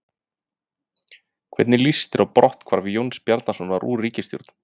Hvernig líst þér á brotthvarf Jóns Bjarnasonar úr ríkisstjórn?